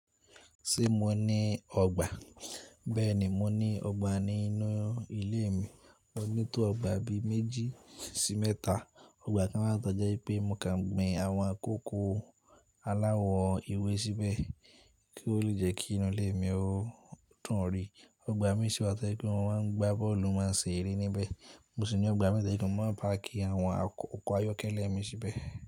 Ṣé mo ní ọgbà? Bẹ́ẹ̀ni, mo ní ọgbà nínú ilé mi. Mo ní tó ọgbà bi méjì sí mẹ́ta. Ọgbà kan máa ń tọ́je pé mo máa ń gbin àwọn kókó aláwọ ewé síbẹ̀ kí ó le jẹ́ kí inú ilé mi ó dún ọ̀ rí. Ọgbà mé sì wà tó jẹ́ pé mo máa ń gbá bọ́ọ̀lù máa ń ṣe eré níbẹ̀. Mó sì ní ọgbà mi ni mo máa ń park àwọn oko ayọkẹ́lẹ́ mi síbẹ̀.